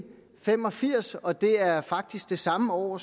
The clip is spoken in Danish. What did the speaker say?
fem og firs og det er faktisk det samme år